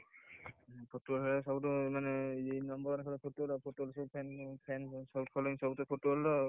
Football ଖେଳତ world ରେ number one ସବୁଠିତ Football ଆଉ,